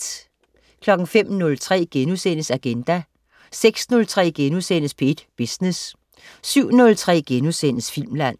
05.03 Agenda* 06.03 P1 Business* 07.03 Filmland*